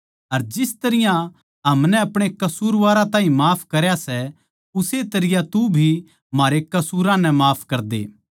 अर जिस तरियां हमनै अपणे कसूरवारां ताहीं माफ करया सै उस्से तरियां तू भी म्हारे कसूरां नै माफ करदे